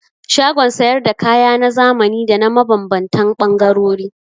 Shagon sayar da kaya na zamani da na mabambantan ɓangarori.